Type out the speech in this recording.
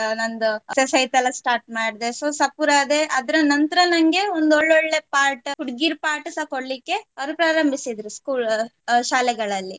ನಂದು ಅಹ್ exercise ಎಲ್ಲ start ಮಾಡ್ದೆ. So ಸಪೂರ ಆದೆ ಅದರ ನಂತರ ನಂಗೆ ಒಂದು ಒಳ್ಳೊಳ್ಳೆ part ಹುಡ್ಗೀರ್ part ಸ ಕೊಡ್ಲಿಕ್ಕೆ ಅವ್ರು ಪ್ರಾರಂಭಿಸಿದ್ರು school ಆಹ್ ಶಾಲೆಗಳಲ್ಲಿ.